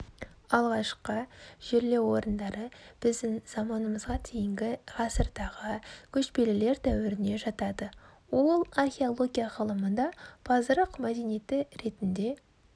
алғашқы жерлеу орындары біздің заманымызға дейінгі ғасырдағы көшпелілер дәуіріне жатады ол археология ғылымында пазырық мәдениеті ретінде